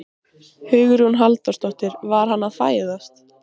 Hugrún Halldórsdóttir: Var hann að fæðast?